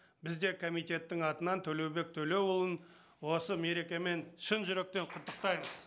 біз де комитеттің атынан төлеубек төлеуұлын осы мерекемен шын жүректен құттықтаймыз